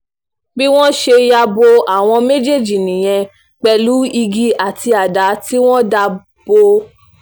bí wọ́n ṣe ń ya bo àwọn méjèèjì nìyẹn pẹ̀lú igi àti àdá tí wọ́n dà bò wọ́n